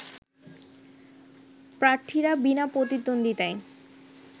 প্রার্থীরা বিনা প্রতিদ্বন্দ্বিতায়